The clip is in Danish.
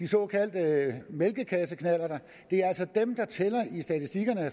såkaldte mælkekasseknallerter det er altså dem